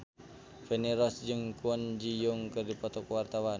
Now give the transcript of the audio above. Feni Rose jeung Kwon Ji Yong keur dipoto ku wartawan